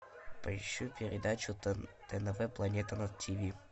поищи передачу тнв планета на тиви